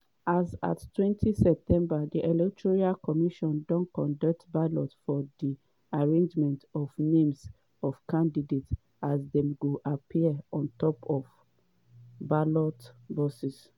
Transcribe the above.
as attwentyseptember di electoral commission dey conduct ballot for di arrangement of names of candidates as dem go appear on top ballot boxes.